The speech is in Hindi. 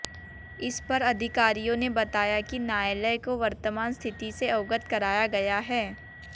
इस पर अधिकारियों ने बताया कि न्यायालय को वर्तमान स्थिति से अवगत कराया गया है